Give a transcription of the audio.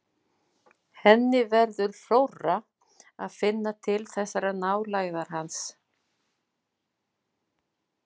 Henni verður rórra að finna til þessarar nálægðar hans.